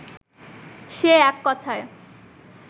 সে এক কথায়